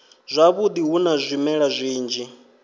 zwavhudi hu na zwimela zwinzhi